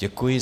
Děkuji.